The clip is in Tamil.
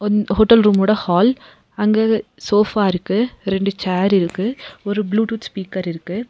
ம் ஹோட்டல் ரூம் ஓட ஹால் அங்க சோஃபா இருக்கு ரெண்டு சேர் இருக்கு ஒரு ப்ளூடூத் ஸ்பீக்கர் இருக்கு.